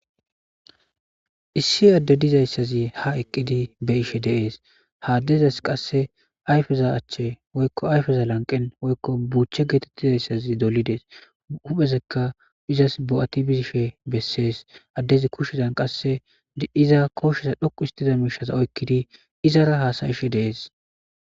Issi adde dizayssazi ha eqqidi be ishe deees haaddezas qasse ayfeza achche woykko ayfeza lanqen woykko buuchche geetettizayssazi dolides uphesekka izas bo'ati bizishe bessees addezi kushezan qasse iza koosheza dhoqu histiza miishaza oykkidi izara haasayishe deees.